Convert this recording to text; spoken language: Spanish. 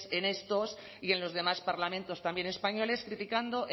en estos y en los demás parlamentos también españoles criticando